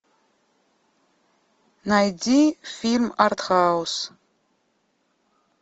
найди фильм артхаус